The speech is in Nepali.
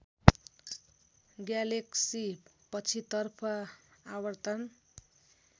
ग्यालेक्सी पछितर्फ आवर्तन